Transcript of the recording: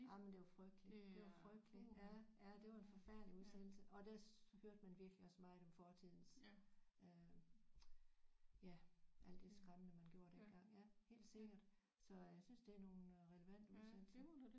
Jamen det var frygteligt det var frygteligt ja ja det var en forfærdelig udsendelse og der hørte man virkelig også meget om fortidens øh ja alt det skræmmende man gjorde dengang ja helt sikkert så jeg synes det er nogle relevante udsendelser